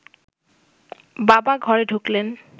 বাবা ঘরে ঢুকলেন